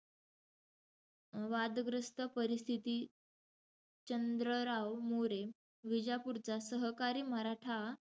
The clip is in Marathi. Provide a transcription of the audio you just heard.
वादग्रस्त परिस्थितीत, चंद्रराव मोरे, विजापूरचा सहकारी मराठा,